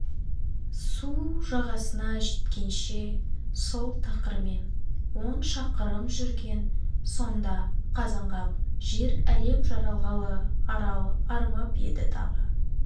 су жағасына жеткенше сол тақырмен он шақырым жүрген сонда қазанғап жер-әлем жаралғалы арал арымап еді тағы